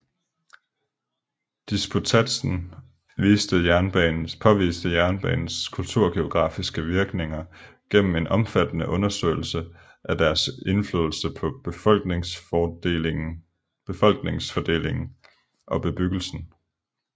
Disputatsen påviste jernbanernes kulturgeografiske virkninger gennem en omfattende undersøgelse af deres indflydelse på befolkningsfordelingen og bebyggelsen